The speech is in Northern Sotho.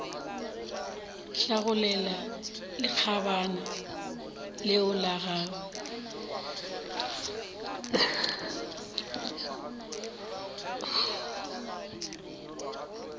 hlagolela lekgabana leo la gagwe